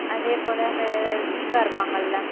அதே போல, அந்த தீபா இருப்பாங்கள்ல?